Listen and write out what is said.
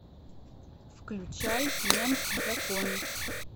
включай мент в законе